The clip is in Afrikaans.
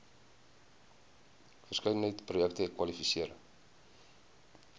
verskeidenheid projekte kwalifiseer